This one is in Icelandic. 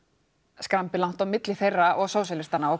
skrambi langt á milli þeirra og Sósíalistaflokksins